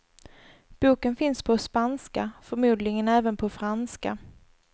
Boken finns på spanska, förmodligen även på franska.